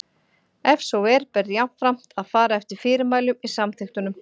Ef svo er ber jafnframt að fara eftir fyrirmælum í samþykktunum.